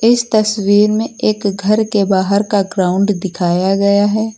इस तस्वीर में एक घर के बाहर का ग्राउंड दिखाया गया है।